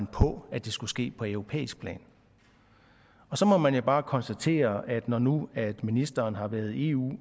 på at det skulle ske på europæisk plan så må man jo bare konstatere at når nu ministeren har været i eu